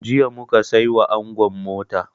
Jiya mu ka sai wa angon mota.